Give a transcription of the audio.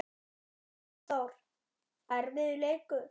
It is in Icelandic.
Hafþór: Erfiður leikur?